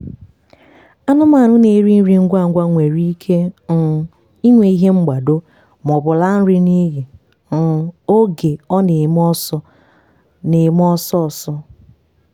anụmanụ na-eri ngwa ngwa nwere ike um inwe ihe mgbado maọbụ laa nri n'iyi um oge ọ na-eme ọsọ na-eme ọsọ ọsọ.